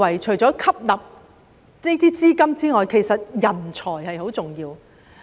除了吸納資金外，我認為人才也很重要。